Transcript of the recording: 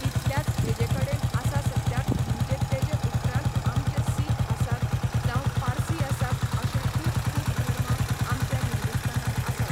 इतल्याच हेजे कडेन आसा सद्याक म्हणजे तेजे उपरांतआमचे सीख आसात जांव पारसी आसात अशें खूब खूब धर्म आमच्या हिंदूस्थानांत आसात